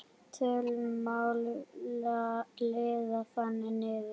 Töluna má liða þannig niður